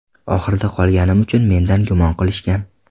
Oxirida qolganim uchun mendan gumon qilishgan.